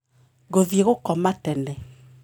Ngũthĩe gũkoma tene